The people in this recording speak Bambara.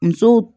Musow